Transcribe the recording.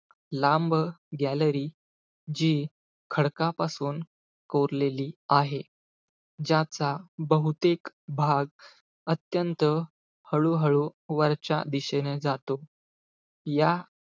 लांब gallery जी, खडकापासून कोरलेली आहे. ज्याचा बहुतेक भाग, अत्यंत हळूहळू वरच्या दिशेने जातो. या,